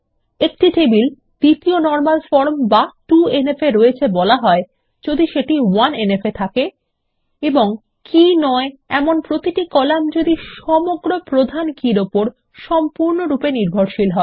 একটি টেবিল দ্বিতীয় normal form বা 2এনএফ এ রয়েছে বলা হয় যদি সেটি 1এনএফ এ থাকে এবং কী নয় এমন প্রতিটি কলাম যদি সমগ্র প্রধান কীর উপর সম্পূর্ণরূপে নির্ভরশীল হয়